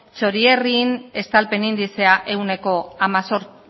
txorierrin estalpen indizea ehuneko